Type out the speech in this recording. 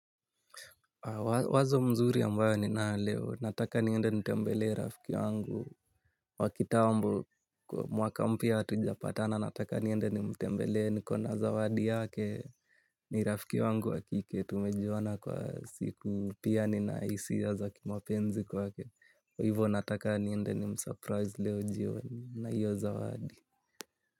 Wazo mzuri ambayo ninayo leo nataka niende nitembelee rafiki yangu wa kitambo mwaka mpya hatujapatana nataka niende nimtembelee nikona zawadi yake ni rafiki wangu wa kike tumejuana kwa siku pia nina hisia za kimapenzi kwake, kwa hivo nataka niende nimsurprise leo jioni na hiyo zawadi.